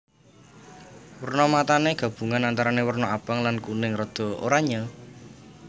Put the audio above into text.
Werna matané gabungan antarané werna abang lan kuning rada oranyé